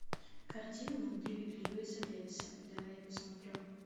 картина внутри льюина дэвиса давай я посмотрю